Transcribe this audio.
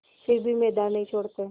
फिर भी मैदान नहीं छोड़ते